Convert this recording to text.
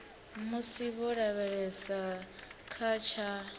musi vho lavhelesa kha tsha